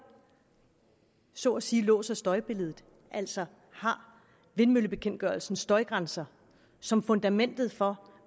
så at sige låser støjbilledet altså har vindmøllebekendtgørelsens støjgrænser som fundamentet for